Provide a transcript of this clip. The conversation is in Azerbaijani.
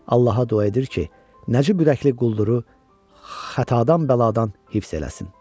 Allaha dua edir ki, nəcib ürəkli qulduru xatadan bəladan hifz eləsin.